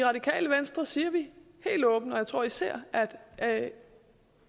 radikale venstre siger vi helt åbent og jeg tror især at